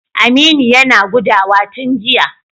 Aminu yana gudawa tun jiya.